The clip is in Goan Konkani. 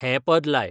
हें पद लाय